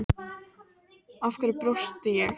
Af hverju brosti ég